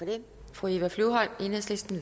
fra enhedslisten